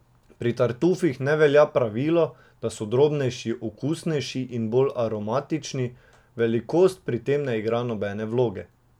Pri tartufih ne velja pravilo, da so drobnejši okusnejši in bolj aromatični, velikost pri tem ne igra nobene vloge.